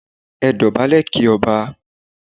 Ẹ dọ̀bálẹ̀ kí Ọba!